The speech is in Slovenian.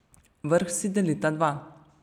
Vrh si delita dva.